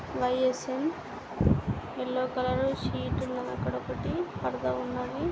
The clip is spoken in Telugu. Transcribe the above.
వై_ఎస్_ఎన్ యెల్లో కలరు సీట్ ఉన్నది. అక్కడొకటి పరదా ఉన్నది.